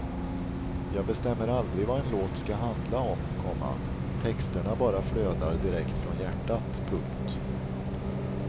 Jag bestämmer aldrig vad en låt ska handla om, komma texterna bara flödar direkt från hjärtat. punkt